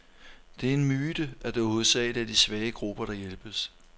Det er en myte, at det hovedsageligt er svage grupper, der hjælpes.